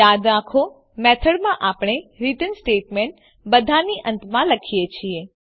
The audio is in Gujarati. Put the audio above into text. યાદ રાખો મેથડમાં આપણે રીટર્ન સ્ટેટમેંટ બધાની અંતમાં લખીએ છીએ